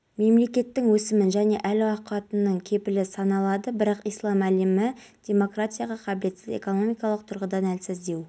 бұл жерге көлемі метрлік заманауи экраны орнатылды сондай-ақ ұлттық нақышпен өрнектелген жұмсақ төсеніштері бар орындықтар қойылған